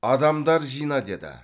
адамдар жина деді